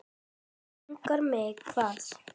Langar mig hvað?